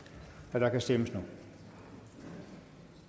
og der kan stemmes nu